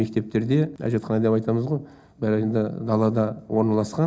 мектептерде әжетхана деп айтамыз ғой бәрі енді далада орналасқан